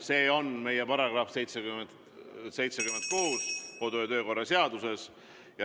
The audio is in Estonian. Selle näeb ette meie kodu- ja töökorra seaduse § 76.